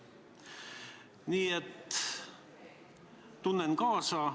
Nii et tunnen kaasa.